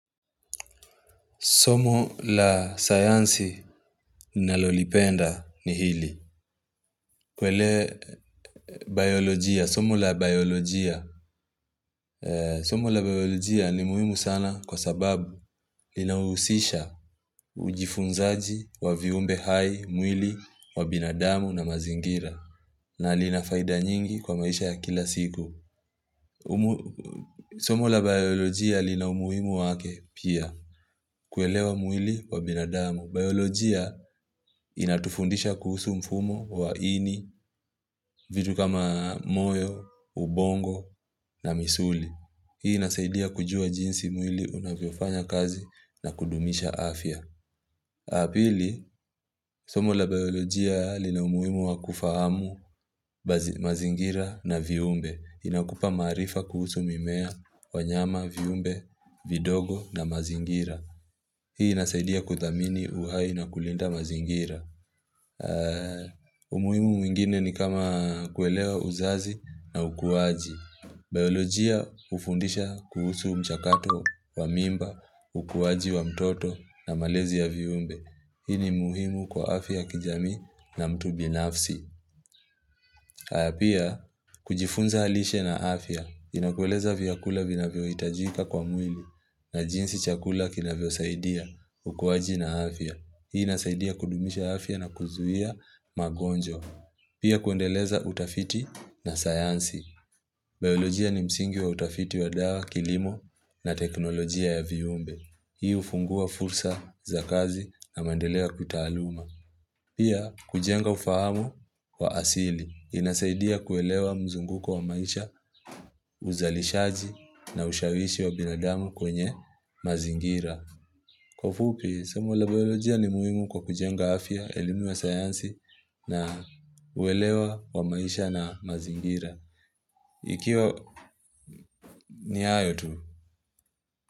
Somo la sayansi ninalolipenda ni hili. Kwele biolojia, somo la biolojia. Somo la biolojia ni muhimu sana kwa sababu linahusisha ujifunzaji wa viumbe hai, mwili wa binadamu na mazingira. Na lina faida nyingi kwa maisha ya kila siku. Somo la biolojia lina umuhimu wake pia. Kuelewa mwili wa binadamu. Biolojia inatufundisha kuhusu mfumo wa ini, vitu kama moyo, ubongo na misuli. Hii inasaidia kujua jinsi mwili unavyofanya kazi na kudumisha afya. Pili, somo la biolojia lina umuimu wa kufahamu mazingira na viumbe. Inakupa maarifa kuhusu mimea wanyama, viumbe, vidogo na mazingira. Hii inasaidia kuthamini uhai na kulinda mazingira. Umuhimu mwingine ni kama kuelewa uzazi na ukuwaji. Biologia hufundisha kuhusu mchakato wa mimba, ukuwaji wa mtoto na malezi ya viumbe. Hii ni muhimu kwa afya kijamii na mtu binafsi. Haya pia, kujifunza lishe na afya, inakueleza vyakula vinavyohitajika kwa mwili na jinsi chakula kinavyo saidia ukuwaji na afya. Hii inasaidia kudumisha afya na kuzuia magonjwa. Pia kuendeleza utafiti na sayansi. Biolojia ni msingi wa utafiti wa dawa, kilimo na teknolojia ya viumbe. Hii hufungua fursa za kazi na maendeleo ya kitaaluma. Pia kujenga ufahamu wa asili. Inasaidia kuelewa mzunguko wa maisha uzalishaji na ushawishi wa binadamu kwenye mazingira. Kwa ufupi, somo la biolojia ni muhimu kwa kujenga afya, elimu ya sayansi na uwelewa wa maisha na mazingira. Ikiwa ni hayo tu.